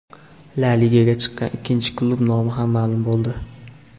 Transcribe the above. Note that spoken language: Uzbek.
La Ligaga chiqqan ikkinchi klub nomi ham ma’lum bo‘ldi.